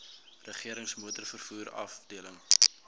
regerings motorvervoer afdeling